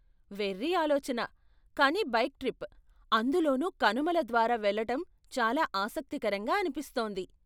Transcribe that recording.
వెఱ్ఱి ఆలోచన, కానీ bike trip, అందులోనూ కనుమల ద్వారా వెళ్ళటం చాలా ఆసక్తికరంగా అనిపిస్తోంది.